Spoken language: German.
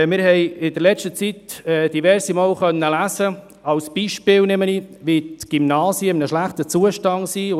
Wir haben in letzter Zeit diverse Male lesen können, dass zum Beispiel die Gymnasien in einem schlechten Zustand seien.